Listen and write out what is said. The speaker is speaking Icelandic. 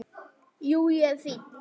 Jú, ég er fínn.